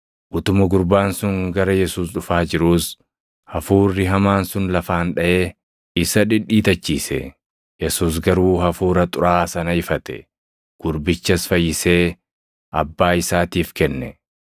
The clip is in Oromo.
Utuma gurbaan sun gara Yesuus dhufaa jiruus, hafuurri hamaan sun lafaan dhaʼee isa dhidhiitachiise. Yesuus garuu hafuura xuraaʼaa sana ifate; gurbichas fayyisee abbaa isaatiif kenne.